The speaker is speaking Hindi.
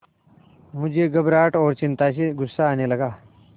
मुझे घबराहट और चिंता से गुस्सा आने लगा